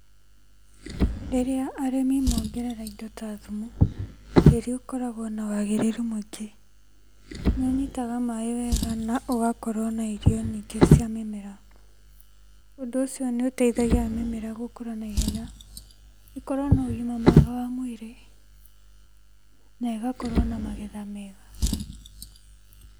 Rĩrĩa arĩmi mongerera indo ta thumu, tĩĩri ũkoragwo na wagĩrĩru mũingĩ. Nĩũnyitaga maĩ wega naũgakorwo na irio nyingĩ cia mĩmera. ũndũ ũcio nĩũteithagia mĩmera gũkũra na ihenya ĩkorwo na ũgima mwega mwĩrĩ na ĩgakorwo na magetha mega.